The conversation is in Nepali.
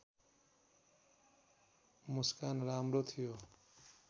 मुस्कान राम्रो थियो